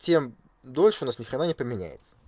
тем дольше у нас ничего не поменяется